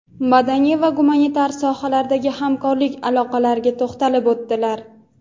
madaniy va gumanitar sohalardagi hamkorlik aloqalariga to‘xtalib o‘tdilar.